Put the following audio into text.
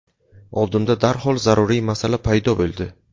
Oldimda darhol zaruriy masala paydo bo‘ldi.